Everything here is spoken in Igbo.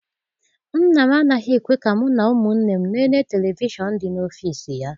Nna m anaghị ekwe ka mụ na ụmụnne m lelee televishọn dị n'ọfịịsi ya.